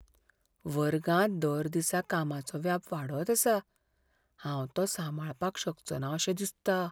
वर्गांत दर दिसा कामाचो व्याप वाडत आसा, हांव तो सांबाळपाक शकचोना अशें दिसता .